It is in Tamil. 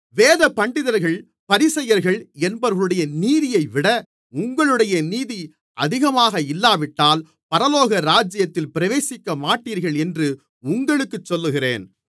வேதபண்டிதர்கள் பரிசேயர்கள் என்பவர்களுடைய நீதியைவிட உங்களுடைய நீதி அதிகமாக இல்லாவிட்டால் பரலோகராஜ்யத்தில் பிரவேசிக்கமாட்டீர்கள் என்று உங்களுக்குச் சொல்லுகிறேன்